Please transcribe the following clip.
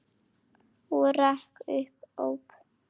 Og rak upp óp.